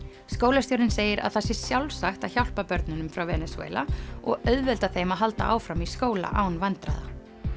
skólastjórinn segir að það sé sjálfsagt að hjálpa börnunum frá Venesúela og auðvelda þeim að halda áfram í skóla án vandræða